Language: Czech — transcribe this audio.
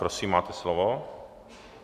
Prosím, máte slovo.